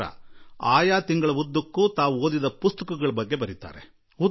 ಇಡೀ ತಿಂಗಳಲ್ಲಿ ಅವರು ಓದಿದ ಪುಸ್ತಕದ ಕುರಿತು ಅದರಲ್ಲಿ ಪ್ರಸ್ತಾಪ ಇರುತ್ತದೆ